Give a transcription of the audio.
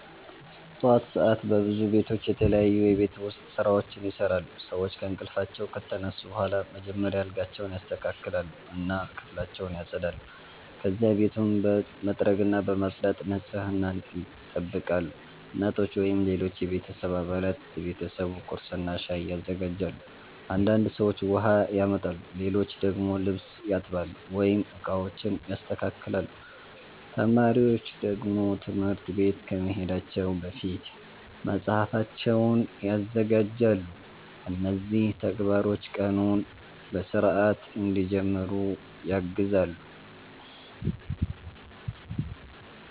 ጠዋት ሰዓት በብዙ ቤቶች የተለያዩ የቤት ውስጥ ስራዎች ይሰራሉ። ሰዎች ከእንቅልፋቸው ከተነሱ በኋላ መጀመሪያ አልጋቸውን ያስተካክላሉ እና ክፍላቸውን ያጸዳሉ። ከዚያ ቤቱን በመጥረግና በማጽዳት ንጽህናን ይጠብቃሉ። እናቶች ወይም ሌሎች የቤተሰብ አባላት ለቤተሰቡ ቁርስና ሻይ ያዘጋጃሉ። አንዳንድ ሰዎች ውሃ ያመጣሉ፣ ሌሎች ደግሞ ልብስ ያጥባሉ ወይም ዕቃዎችን ያስተካክላሉ። ተማሪዎች ደግሞ ትምህርት ቤት ከመሄዳቸው በፊት መጽሐፋቸውን ያዘጋጃሉ። እነዚህ ተግባሮች ቀኑን በሥርዓት እንዲጀምሩ ያግዛሉ።